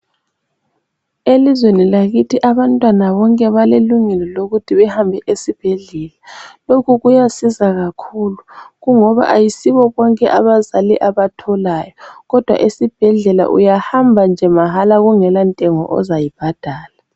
Elizweni lakhithi abantwana bonke balelungelo lokuthi bahambe esibhedlela. Lokhu kuyasiza kakhulu kungoba ayisibo bonke abazali abatholayo. Kodwa esibhedlela uyahamba nje mahala ungela ntengo ozayibhadala.